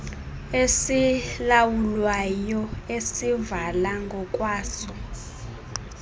esizilawulayo esizivala ngokwaso